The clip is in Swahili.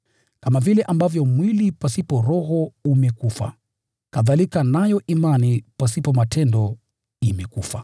Kama vile ambavyo mwili pasipo roho umekufa, kadhalika nayo imani pasipo matendo imekufa.